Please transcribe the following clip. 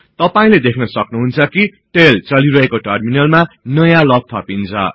तपाईले देख्नसक्नुहुन्छ कि टेल चलिरहेको टर्मिनलमा नयाँ लग थपिन्छ